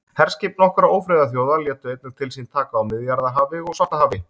Herskip nokkurra ófriðarþjóða létu einnig til sín taka á Miðjarðarhafi og Svartahafi.